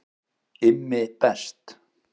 IMMI BEST